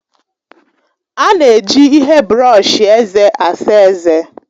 A na-eji ihe brọọshi eze asa ezé.